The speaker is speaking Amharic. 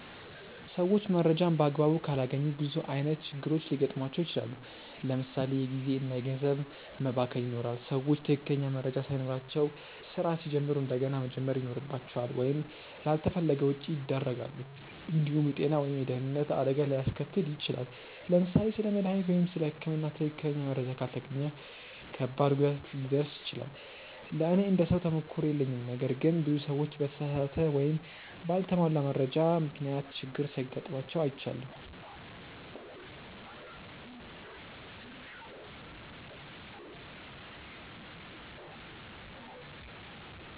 ሰዎች መረጃን በአግባቡ ካላገኙ ብዙ ዓይነት ችግሮች ሊገጥሟቸው ይችላል። ለምሳ ሌ የጊዜ እና ገንዘብ መባከን ይኖራል። ሰዎች ትክክለኛ መረጃ ሳይኖራቸው ስራ ሲጀምሩ እንደገና መጀመር ይኖርባቸዋል ወይም ላልተፈለገ ወጪ ያደርጋሉ። እንዲሁም የጤና ወይም የደህንነት አደጋ ሊያስከትል ይችላል። ለምሳሌ ስለ መድሃኒት ወይም ስለ ህክምና ትክክለኛ መረጃ ካልተገኘ ከባድ ጉዳት ሊደርስ ይችላል። ለእኔ እንደ ሰው ተሞክሮ የለኝም ነገር ግን ብዙ ሰዎች በተሳሳተ ወይም በአልተሟላ መረጃ ምክንያት ችግር ሲጋጥማቸው አይቻለሁ።